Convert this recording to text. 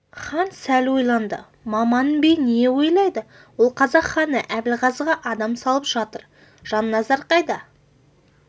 хан сәл ойланды маман би не ойлайды ол қазақ ханы әбілғазыға адам салып жатыр жанназар қайда